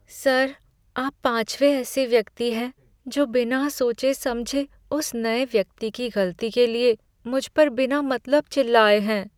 Sir, आप पाँचवें ऐसे व्यक्ति हैं जो बिना सोचे समझे उस नए व्यक्ति की गलती के लिए मुझ पर बिना मतलब चिल्लाए हैं।